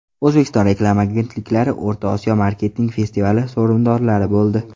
O‘zbekiston reklama agentliklari O‘rta Osiyo marketing festivali sovrindorlari bo‘ldi.